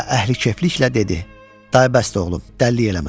Və əhlikefliklə dedi: Day bəsdi oğlum, dəlilik eləmə.